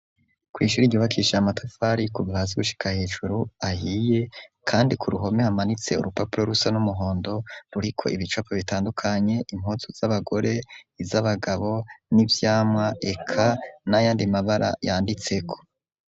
Ku ishure ryubakishije amatafari kuva hasi gushika hejuru ahiye kandi ku ruhome hamanitse urupapuro rusa n'umuhondo ruriko ibicapo bitandukanye impuzu z'abagore, z'abagabo n'ivyamwa eka nayandi mabara yanditse ko.